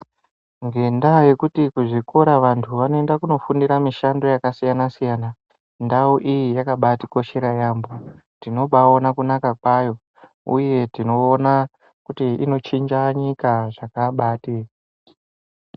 Ngenda yekuti vantu kuzvikora vanoenda kunofundira mishando yakasiyana siyana ndau iyi yakatikoshera yambo tinobaiona kunaka kwayo uye tinoona kuti inochinja nyika zvakabati.